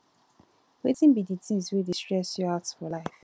wetin be di things wey dey stress you out for life